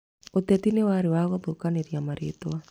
Ũteti nĩwarĩ wa gũthũkanĩria marĩtwa